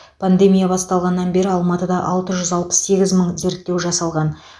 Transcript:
пандемия басталғаннан бері алматыда алты жүз алпыс сегіз мың зерттеу жасалған